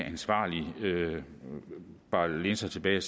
ansvarlig vis bare kan læne sig tilbage